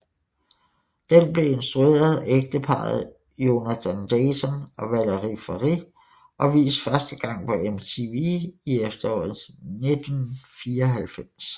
Den blev instrueret af ægteparret Jonathan Dayton og Valerie Faris og vist første gang på MTV i efteråret 1994